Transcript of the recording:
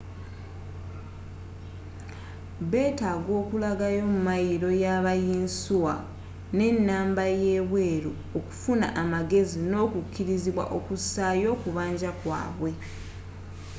betaaga okulaga ymayiro yaba yinsuwa nenamba yebweru okufuna amagezi n'okukirizibwa okusaayo okubanja kwabwe